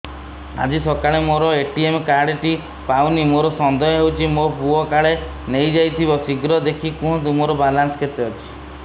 ଆଜି ସକାଳେ ମୋର ଏ.ଟି.ଏମ୍ କାର୍ଡ ଟି ପାଉନି ମୋର ସନ୍ଦେହ ହଉଚି ମୋ ପୁଅ କାଳେ ନେଇଯାଇଥିବ ଶୀଘ୍ର ଦେଖି କୁହନ୍ତୁ ମୋର ବାଲାନ୍ସ କେତେ ଅଛି